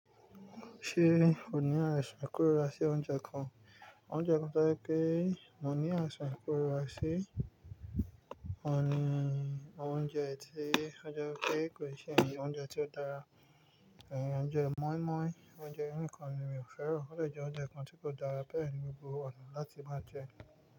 Ṣé o ní àìsàn ikórira sí oúnjẹ kan? Oúnjẹ kan tojé pé mo ní àìsài kórira sí ọ̀ni oúnjẹ tí ó je wipé kò ì ṣe oúnjẹ tí ó dára, ẹ̀ oúnjẹ mọ́ímọ́í, oúnjẹ yi nìkan ni mi ò fẹ́ran. O de jẹ oúnjẹ kan tí kò dára bẹ́ẹ̀ ni gbogbo ọ̀nà láti máa jẹ ẹ́.